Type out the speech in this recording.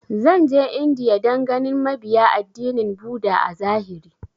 Zan je India dan ganin mabiya addinin buddha a zahiri